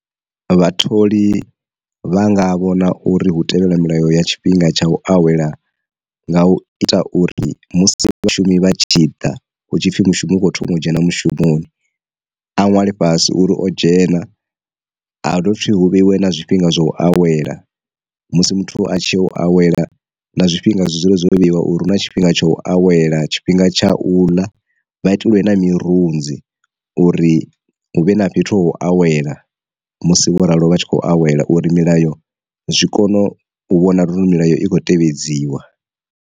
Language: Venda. Vhatholi vhanga vhona uri hu tevhela milayo ya tshifhinga tsha u awela nga u ita uri musi vhashumi vha tshi ḓa hu tshipfi mushumo wo thoma u dzhena mushumoni, a nwale fhasi uri o dzhena a dovhe futhi hu vhe iwe na zwifhinga zwa u awela musi muthu a tshi u awela na zwifhinga zwi dzule zwo vheiwa uri hu na tshifhinga tsha u awela, tshifhinga tsha u ḽa, vha itelwe mirunzi uri huvhe na fhethu ha u awela musi vho ralo vha tshi khou awela uri milayo zwi kone u vhona uri milayo i khou tevhedziwa.